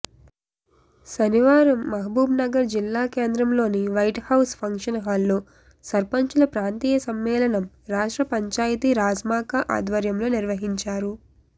శనివారం మహబూబ్నగర్ జిల్లా కేంద్రంలోని వైట్హౌస్ ఫంక్షహాల్లో సర్పంచుల ప్రాంతీ య సమ్మేళనం రాష్ట్ర పంచాయతీ రాజ్శాఖ ఆధ్వర్యంలో నిర్వహించారు